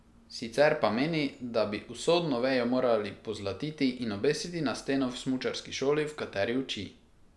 Sicer pa meni, da bi usodno vejo moral pozlatiti in obesiti na steno v smučarski šoli v kateri uči.